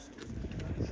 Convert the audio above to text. Dedi ki, nə oldu?